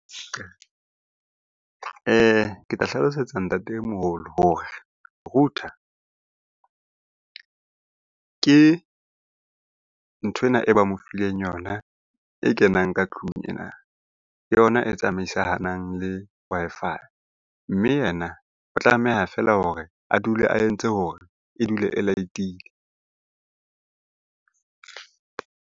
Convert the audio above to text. Ke tla hlalosetsa ntatemoholo hore router ke nthwena e ba mo fileng yona e kenang ka tlung ena. Ke yona e tsamaisanang le Wi-Fi, mme yena o tlameha feela hore a dule a entse hore e dule e light-ile.